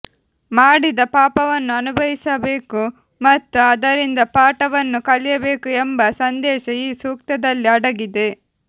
ಮಾಡಿದ ಪಾಪವನ್ನು ಅನುಭವಿಸಬೇಕು ಮತ್ತು ಅದರಿಂದ ಪಾಠವನ್ನು ಕಲಿಯಬೇಕು ಎಂಬ ಸಂದೇಶ ಈ ಸೂಕ್ತದಲ್ಲಿ ಅಡಗಿದೆ